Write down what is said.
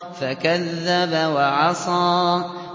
فَكَذَّبَ وَعَصَىٰ